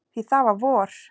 Því það var vor.